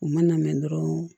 U ma na mɛn dɔrɔn